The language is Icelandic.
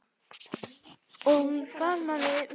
Og hún faðmaði mig.